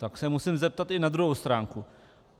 Tak se musím zeptat i na druhou stránku.